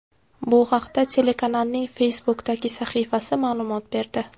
Bu haqda telekanalning Facebook’dagi sahifasi ma’lumot berdi .